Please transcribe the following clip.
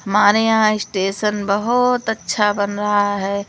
हमारे यहां स्टेशन बहोत अच्छा बन रहा हैं।